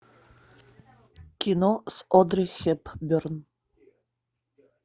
кино с одри хепберн